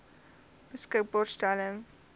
volle beskikbaarstelling bereik